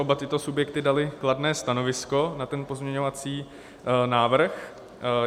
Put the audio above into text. Oba tyto subjekty daly kladné stanovisko na ten pozměňovací návrh.